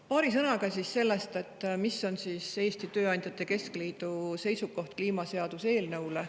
Paari sõnaga sellest, mis on Eesti Tööandjate Keskliidu seisukoht kliimaseaduse eelnõu kohta.